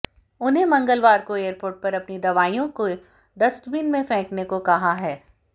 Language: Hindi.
उन्हें मंगलवार को एयरपोर्ट पर अपनी दवाईयों को डस्टबिन में फेंकने को कहा है